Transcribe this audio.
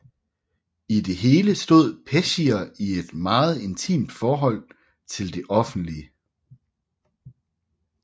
I det hele stod Peschier i et meget intimt forhold til det offentlige